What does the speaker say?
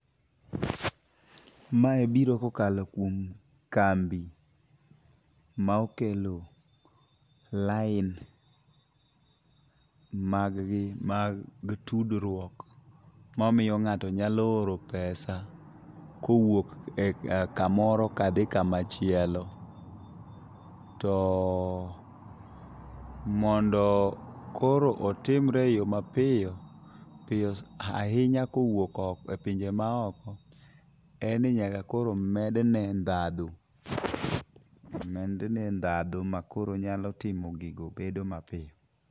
Mae biro kokalo kuom kambi ma okelo line mag gi mag tudruok mamiyo ngato nyalo oro pesa kowuok kamoro ka dhi kamachielo. To mondo koro otimre e yo mapiyo piyo ahinya kowuok e pinje ma oko en ni nyaka koro med ne dhadho makoro onyalo timo gigo bedo mapiyo.